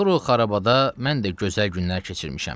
Axır o xarabada mən də gözəl günlər keçirmişəm.